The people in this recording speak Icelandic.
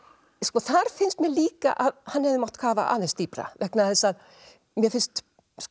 þar finnst mér líka að hann hefði mátt kafa aðeins dýpra vegna þess að mér finnst